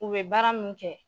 U bɛ baara min kɛ